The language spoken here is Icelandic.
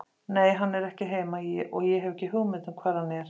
Nei, hann er ekki heima og ég hef ekki hugmynd um hvar hann er!